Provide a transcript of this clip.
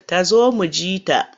Ta zo mu ji ta.